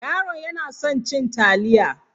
Yaron yana son cin taliya.